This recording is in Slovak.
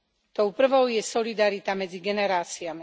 Tou prvou je solidarita medzi generáciami.